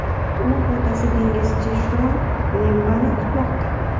U otasi dengizchi Shon Lembani kutmoqda.